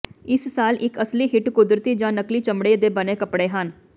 ਇਸ ਸਾਲ ਇੱਕ ਅਸਲੀ ਹਿੱਟ ਕੁਦਰਤੀ ਜਾਂ ਨਕਲੀ ਚਮੜੇ ਦੇ ਬਣੇ ਕੱਪੜੇ ਹਨ